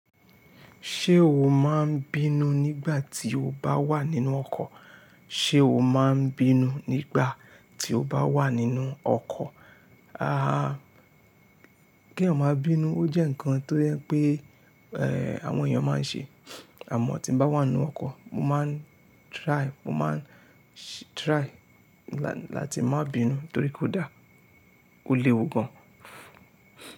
Ṣé o máa ń bínú nígbà tí o bá wà nínú ọkọ̀? Sé o máa ń bínú nígbà tí o bá wà nínú ọkọ̀? Ah, kí èèyàn máa bínú. Ó jẹ́ ǹkan tó yẹ pé, eh, àwọn èèyàn máa ń ṣe, àmọ́ tí mo bá wà nínú ọkọ̀, mo máa ń try, mo máa ń try láti má bínú torí kò dáa, ó léwu gan.